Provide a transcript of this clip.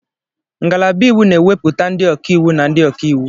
Ngalaba iwu na-ewepụta ndị ọka iwu na ndị ọka iwu.